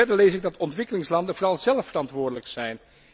Verder lees ik dat ontwikkelingslanden vooral zelf verantwoordelijk zijn.